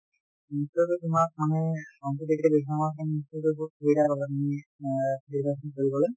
নিশ্চয় কৈ তোমাক মানে competitive exam ৰ কাৰণে নিশ্চয় কৈ বহুত সুবিধা হব তুমি অ preparation কৰিবলৈ